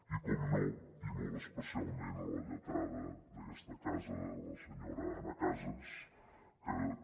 i per descomptat i molt especialment a la lletrada d’aquesta casa la senyora anna casas que també